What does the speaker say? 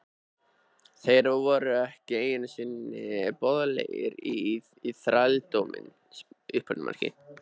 Þeir voru ekki einu sinni boðlegir í þrældóminn!